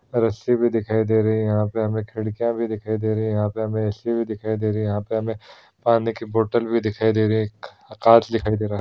रस्सी भी दिखाई दे रही है यहाँ पे हमें खिड़कियां भी दिखाई दे रही है यहाँ पे हमें एसी भी दिखाई दे रही है यहाँ पे पानी की बोतल भी दिखाई दे रही है एक कांच दिखाई दे रहा है।